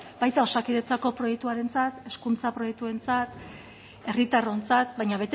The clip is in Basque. baita osakidetzako proiektuarentzat hezkuntza proiektuarentzat herritarrontzat baina